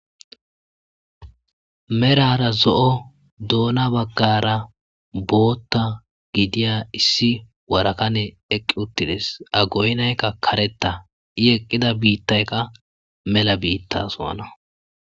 Merara zo7o doona baggara bootta gidiya issi warakane eqqi uttides agoynaykka kareta i eqqida biittaykka mela biitta so7ana.